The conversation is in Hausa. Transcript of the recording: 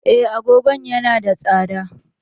Eh, agogon yana da tsada.